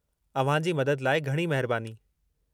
अव्हां जी मदद लाइ घणी महिरबानी।